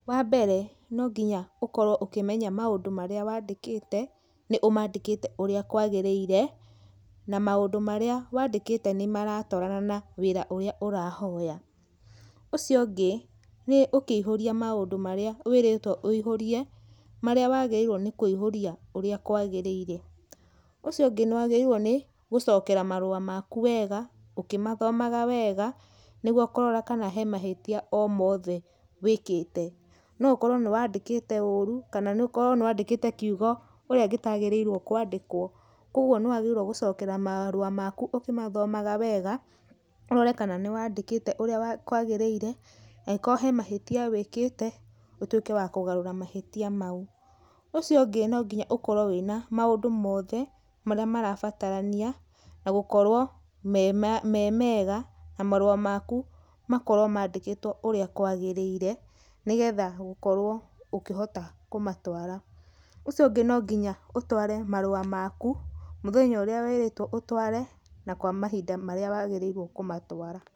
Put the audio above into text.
Wa mbere, no nginya ũkorwo ũkĩmenya maũndũ marĩa wandĩkĩte, nĩ ũmandĩkĩte ũrĩa kwagĩrĩire, na maũndũ marĩa wandĩkĩte nĩ maratwarana na wĩra ũrĩa ũrahoya. Ũcio ũngĩ, nĩ ũkĩihũria maũndũ marĩa wĩrĩtwo wĩihũrie marĩa wagĩrĩirwo nĩ kũihũria ũrĩa kwagĩrĩire. Ũcio ũngĩ nĩ wagĩrĩirwo nĩ, gũcokera marũa maku wega ũkĩmathomaga wega nĩguo kũrora kana he mahĩtia o mothe wĩkĩte. No ũkorwo nĩ wandĩkĩte ũũru kana ũkorwo nĩ wandĩkĩte kiugo ũrĩa gĩtagĩrĩirwo kwandĩkwo koguo nĩ wagĩrĩirwo gũcokera marũa maku ũkĩmathomaga wega, ũrore kana nĩ wandĩkĩte ũrĩa kwagĩrĩire. Angĩkorwo he mahĩtia wĩkĩte, ũtuĩke wa kũgarũra mahĩtia mau. Ũcio ũngĩ no nginya ũkorwo wĩna maũndũ mothe marĩa marabatarania, na gũkorwo me mega na marũa maku makorwo mandĩkĩtwo ũrĩa kwagĩrĩire nĩ getha ũkorwo ũkĩhota kũmatwara. Ũcio no nginya ũtware marũa maku mũthenya ũrĩa wĩrĩtwo ũtware na kwa mahinda marĩa wagĩrĩirwo kũmatwara.